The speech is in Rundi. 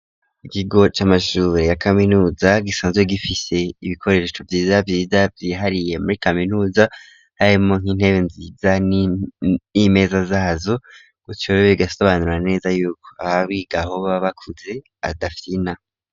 Ikigo c,amashure ya kaminuza gisanzwe gifise ibikoresho vyiza vyiza vyihariye muri kaminuza harimo nk'intebe nziza n'imeza zazo gutsyo rero bigasobanura neza yuko ababa bigaho baba bakuze badafyina.